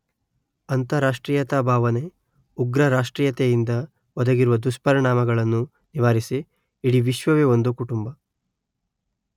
ಅಂತಾರಾಷ್ಟ್ರೀಯತಾಭಾವನೆ ಉಗ್ರ ರಾಷ್ಟ್ರೀಯತೆಯಿಂದ ಒದಗಿರುವ ದುಷ್ಪರಿಣಾಮಗಳನ್ನು ನಿವಾರಿಸಿ ಇಡೀ ವಿಶ್ವವೇ ಒಂದು ಕುಟುಂಬ